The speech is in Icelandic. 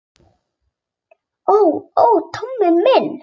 Ó, ó, Tóti minn.